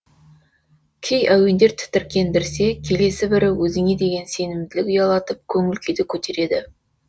кей әуендер тітіркендірсе келесі бірі өзіңе деген сенімділік ұялатып көңіл күйді көтереді